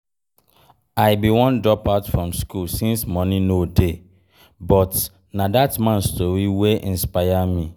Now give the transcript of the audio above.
I bin wan drop out from school since money no dey but na dat man story wey inspire me